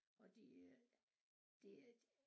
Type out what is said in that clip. Og de er det et